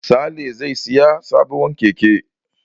Sale zai sayi sabuwar keke.